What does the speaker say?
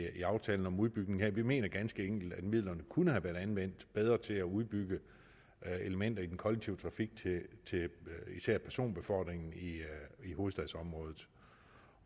aftalen om udbygningen her vi mener ganske enkelt at midlerne kunne have været anvendt bedre til at udbygge elementer i den kollektive trafik til især personbefordringen i hovedstadsområdet